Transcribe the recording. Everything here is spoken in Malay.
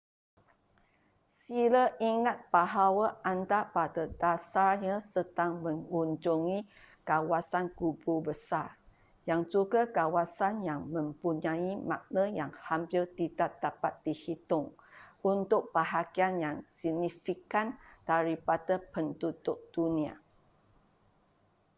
sila ingat bahawa anda pada dasarnya sedang mengunjungi kawasan kubur besar yang juga kawasan yang mempunyai makna yang hampir tidak dapat dihitung untuk bahagian yang signifikan daripada penduduk dunia